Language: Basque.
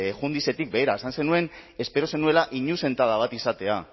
jundizetik begira esan zenuen espero zenuela inuzentada bat izatea